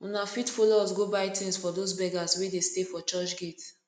una fit follow us go buy tins for dose beggers wey de stay for church gate